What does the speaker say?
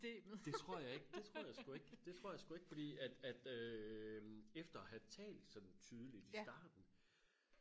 det tror jeg ikke det tror jeg sku ikke det tror jeg sku ikke fordi at at øh efter at have talt sådan tydeligt i starten